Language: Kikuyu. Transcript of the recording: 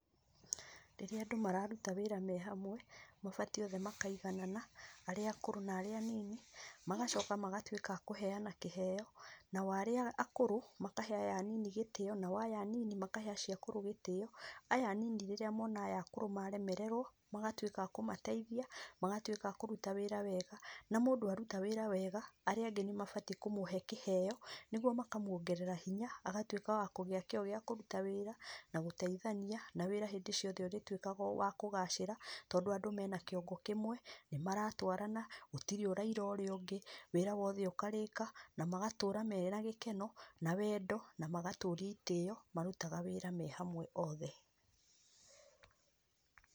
Rĩrĩa andũ mararuta wĩra me hamwe, mabatiĩ othe makaiganana arĩa akũrũ na arĩa anini, magacoka magatuĩka a kũheana kĩheo. Nao arĩa akũrũ makahe aya anini gĩtĩo nao aya anini makahe acio akũrũ gĩtĩo. Aya anini rĩrĩa mona aya akũrũ maremererwo, magatuĩka a kũmateithia, magatuĩka a kũruta wĩra wega, na mũndũ aruta wĩra wega, arĩa angĩ nĩ mabatiĩ kũmũhe kĩheo nĩguo makamuongerera hinya agatuĩka wa kũgĩa kĩo gĩa kũruta wĩra na gũteithania, na wĩra hĩndĩ ciothe ũrĩtuĩkaga wa kũgacĩra tondũ andũ mena kĩongo kĩmwe, nĩ maratwarana, gũtirĩ ũraira ũrĩa ũngĩ, wĩra wothe ũkarĩka na magatũũra mena gĩkeno na wendo na magatũũria itĩĩo marutaga wĩra me hamwe othe.